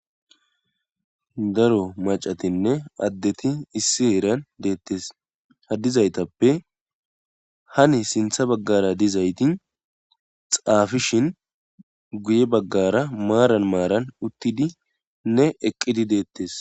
daro macatinne addeti issi heeran deettes hadizaytappe hani sintha baggara dizayti xaafishin guye baggara maaran maaran uttidi ne eqqidi deettes